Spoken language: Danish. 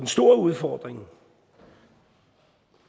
store udfordring